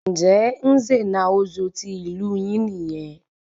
Njẹ Nze na Ozo tí ìlú yín nìyẹn?